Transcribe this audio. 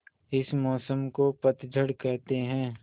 इस मौसम को पतझड़ कहते हैं